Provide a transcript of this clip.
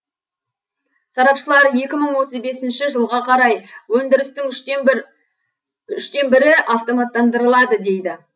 сарапшылар екі мың отыз бесінші жылға қарай үштен бірі автоматтандырылады дейді